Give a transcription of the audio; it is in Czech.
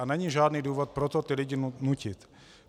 A není žádný důvod pro to ty lidi nutit.